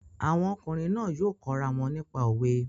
Àwọn ọkùnrin náà yóò kọ́ ra wọn nípa òwe